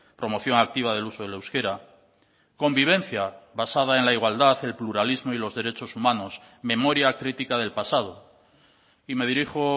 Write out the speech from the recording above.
promoción activa del uso del euskera convivencia basada en la igualdad el pluralismo y los derechos humanos memoria crítica del pasado y me dirijo